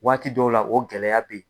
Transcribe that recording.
Waati dɔw la o gɛlɛya bɛ yen.